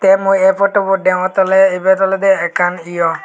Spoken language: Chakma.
te mui ey potubot deongotte awle ibet olode ekkan hiyong.